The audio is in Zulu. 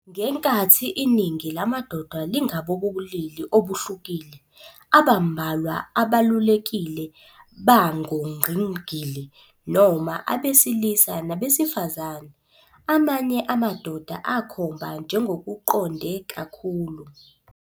Ngenkathi iningi lamadoda lingabobulili obuhlukile, abambalwa abalulekile bangongqingili noma abesilisa nabesifazane. Amanye amadoda akhomba njengokuqonde "kakhulu".